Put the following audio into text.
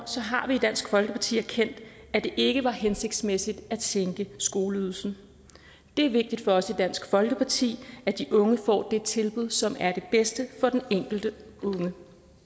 har vi i dansk folkeparti erkendt at det ikke var hensigtsmæssigt at sænke skoleydelsen det er vigtigt for os i dansk folkeparti at de unge får det tilbud som er det bedste for den enkelte unge